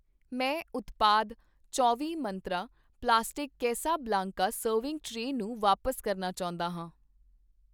ਮੈਂ ਉਤਪਾਦ ਚੌਂਵੀਂ ਮੰਤਰਾਂ ਪਲਾਸਟਿਕ ਕੈਸਾਬਲਾਂਕਾ ਸਰਵਿੰਗ ਟਰੇ ਨੂੰ ਵਾਪਸ ਕਰਨਾ ਚਾਹੁੰਦਾ ਹਾਂ